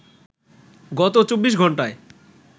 গত ২৪ ঘন্টায়